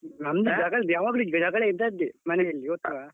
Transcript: ನಮ್ಮದು ಯಾವಾಗ್ಲೂ ಜಗಳ ಇದ್ದದ್ದೆ ಮನೆಯಲ್ಲಿ ಗೊತ್ತಾ.